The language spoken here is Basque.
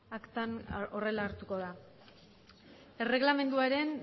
aktan horrela hartuko da erreglamenduaren